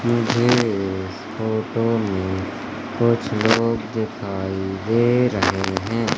मुझ इस फोटो में कुछ लोग दिखाई दे रहे हैं।